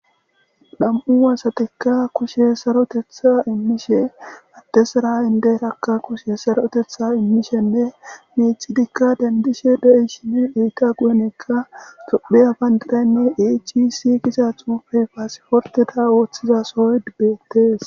Nam'u asatikka kushshe saroteththa immishe addezara indiyiraka kushshe saroteththa immishenne miccidikka dendishe deiyaysinne eeta guyen tophphiya banddiranne AHS gizza xuufey passiportteta othiza sohoy bettes.